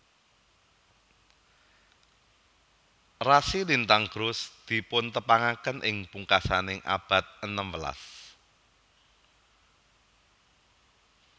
Rasi lintang Grus dipuntepangaken ing pungkasaning abad enem welas